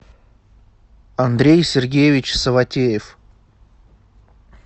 андрей сергеевич саватеев